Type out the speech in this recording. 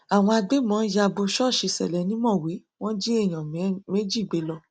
àwọn agbébọn ya bò ṣọọṣì ṣẹlẹ ni mọwé wọn jí èèyàn méjì gbé lọ